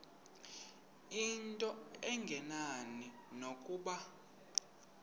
into engenani nokuba